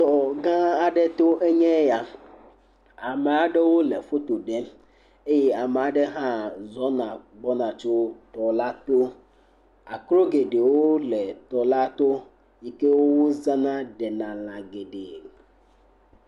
Tɔ gã aɖe to enye ya, ame aɖewo le foto ɖem eye ame aɖe hã zɔna gbɔna tso tɔ la to, akro geɖewo le tɔ la to yi ke wozana ɖena lã geɖee.